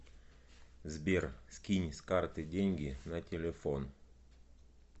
сбер скинь с карты деньги на телефон